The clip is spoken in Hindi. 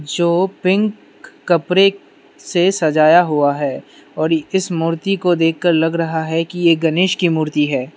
जो पिंक कपरे से सजाया हुआ है और इस मूर्ति को देखकर लग रहा है कि ये गनेश की मूर्ति है।